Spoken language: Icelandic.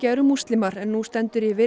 eru múslimar en nú stendur yfir